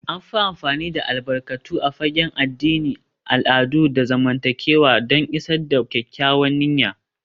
An fi amfani da albarkatu a fagen addini, al'adu, da zamantakewa don isar da kyakkyawar niyya